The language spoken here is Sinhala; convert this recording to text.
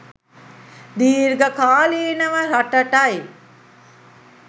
දීර්ඝ කාලීනව රටටයි